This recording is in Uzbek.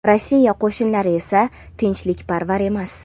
Rossiya qo‘shinlari esa tinchlikparvar emas.